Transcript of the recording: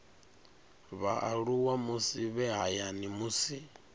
vhaaluwa musi vhe hayani musi